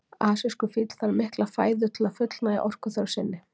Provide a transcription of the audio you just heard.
Asískur fíll þarf mikla fæðu til að fullnægja orkuþörf sinni.